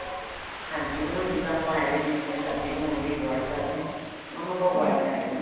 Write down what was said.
ਹਾਂਜੀ ਉਹਨਾ ਨੂੰ ਜਿੱਦਾਂ ਆਪਾ as tics ਜਿਵੇਂ ਸਬਜ਼ੀ ਬਣਾਉਣ ਦੇ ਲਈ boil ਕਰਦੇ ਹਾਂ ਉਹਨੂੰ ਆਪਾਂ ਕਰ ਲੈਣਾ ਹੈ